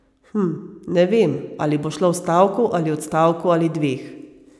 Hm, ne vem, ali bo šlo v stavku ali odstavku ali dveh.